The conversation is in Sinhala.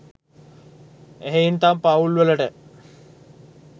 එහෙයින් තම පවුල් වලට